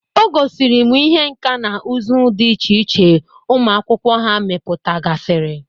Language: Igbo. O gosiri m ihe nka na ụzụ dị iche iche ụmụakwụkwọ ha meputagasịrị